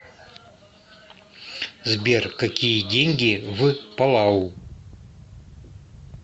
сбер какие деньги в палау